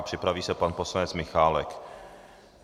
A připraví se pan poslanec Michálek.